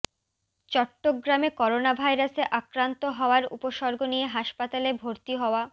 চট্টগ্রামে করোনাভাইরাসে আক্রান্ত হওয়ার উপসর্গ নিয়ে হাসপাতালে ভর্তি হওয়া